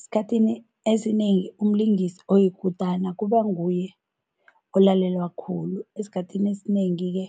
Esikhathini esinengi umlingisi oyikutana kuba nguye olalelwa khulu. Esikhathini esinengi-ke